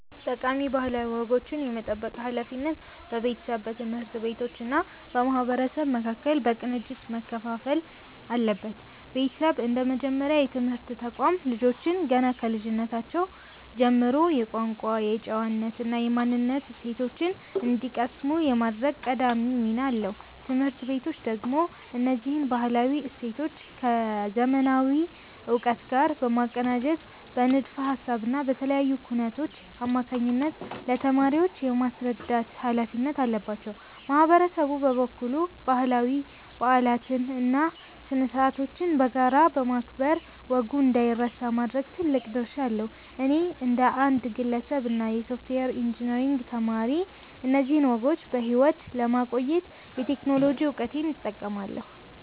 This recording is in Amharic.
ጠቃሚ ባህላዊ ወጎችን የመጠበቅ ሃላፊነት በቤተሰብ፣ በትምህርት ቤቶች እና በማህበረሰቡ መካከል በቅንጅት መከፋፈል አለበት። ቤተሰብ እንደ መጀመሪያ የትምህርት ተቋም፣ ልጆች ገና ከልጅነታቸው ጀምሮ የቋንቋ፣ የጨዋነት እና የማንነት እሴቶችን እንዲቀስሙ የማድረግ ቀዳሚ ሚና አለው። ትምህርት ቤቶች ደግሞ እነዚህን ባህላዊ እሴቶች ከዘመናዊ እውቀት ጋር በማቀናጀት በንድፈ ሃሳብ እና በተለያዩ ኩነቶች አማካኝነት ለተማሪዎች የማስረዳት ሃላፊነት አለባቸው። ማህበረሰቡ በበኩሉ ባህላዊ በዓላትን እና ስነ-ስርዓቶችን በጋራ በማክበር ወጉ እንዳይረሳ የማድረግ ትልቅ ድርሻ አለው። እኔ እንደ አንድ ግለሰብ እና የሶፍትዌር ኢንጂነሪንግ ተማሪ፣ እነዚህን ወጎች በሕይወት ለማቆየት የቴክኖሎጂ እውቀቴን እጠቀማለሁ።